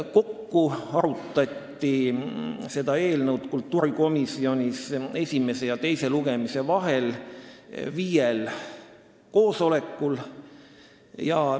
Kokku arutati seda eelnõu kultuurikomisjonis esimese ja teise lugemise vahel viiel koosolekul.